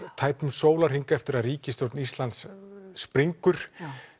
tæpum sólarhring eftir að ríkisstjórn Íslands springur